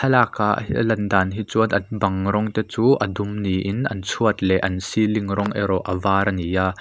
thlalakah ahh hi alan dan hi chuan an bang rawng te chu a dum niin an chhuat leh an ceiling rawng erawh a var a ni a.